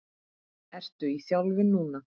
Ertu í þjálfun núna?